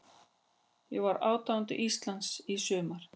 Ég var aðdáandi Íslands í sumar.